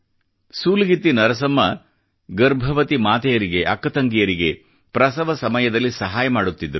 ಸೂಲಗಿತ್ತಿ ನರಸಮ್ಮ ಗರ್ಭವತಿ ಮಾತೆಯರಿಗೆ ಅಕ್ಕ ತಂಗಿಯರಿಗೆ ಪ್ರಸವ ಸಮಯದಲ್ಲಿ ಸಹಾಯ ಮಾಡುತ್ತಿದ್ದಳು